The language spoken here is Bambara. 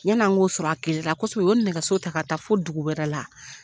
Yani an k'o sɔrɔ a o kɔsɔn o ye nɛgɛso ta ka taa fo dugu wɛrɛ la